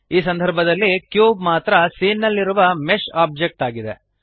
ಈ ಸಂದರ್ಭದಲ್ಲಿ ಕ್ಯೂಬ್ ಮಾತ್ರ ಸೀನ್ ನಲ್ಲಿರುವ ಮೆಶ್ ಆಬ್ಜೆಕ್ಟ್ ಆಗಿದೆ